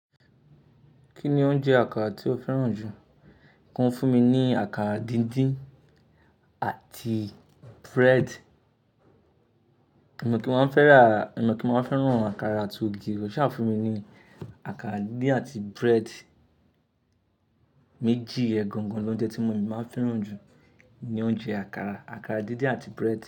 Kí ni oúnjẹ àkàrà tí o fẹ́ràn jù? Kọ n fún mi ní àkàrà díndín àti bread. Mi ọ̀ kí n máa fẹ́ràn àkàrà àti ògì o, ṣà fún mi ní àkàrà díndín àti bread méjì. Iyen gangan lóúnjẹ tí mo máa ń fẹ́ràn jù ní oúnjẹ àkàrà, àkàrà díndín àti bread.